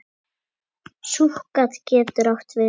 Súkkat getur átt við